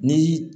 Ni